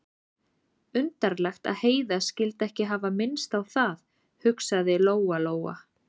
Undarlegt að Heiða skyldi ekki hafa minnst á það, hugsaði Lóa-Lóa.